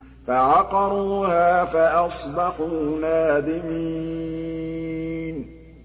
فَعَقَرُوهَا فَأَصْبَحُوا نَادِمِينَ